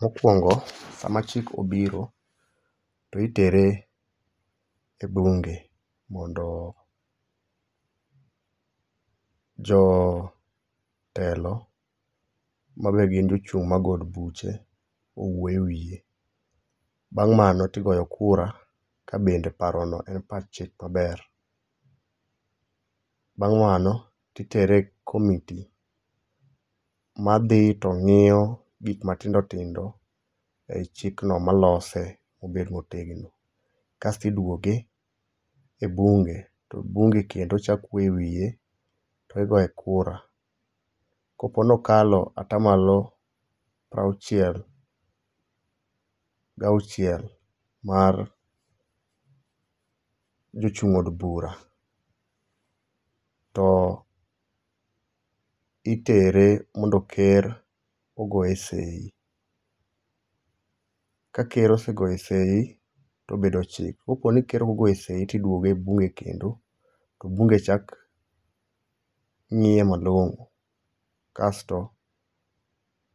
Mokwongo, sama chik obiro to itere e bunge mondo jotelo mabe gin jochung' mag od buche owuo e wiye. Bang' mano tiyogo kura kabende parono en pach chik maber. Bang' mano titere e committee ma dhi to ng'iyo gik matindo tindo ei chikno malose obed motegno. Kasto idwoke e bunge to bunge kendo chako wuoyo e wiye to igoye kura. Kopo nokalo atamalo prauchiel gauchiel mar jochung' od bura ,to itere mondo ker ogoye sei. Ka ker osegoye sei tobedo chik. Koponi ker okogoye sei, tidwoke e bunge kendo to bunge chak ng'iye malong'o. Kasto